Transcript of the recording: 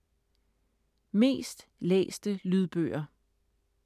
Mest læste lydbøger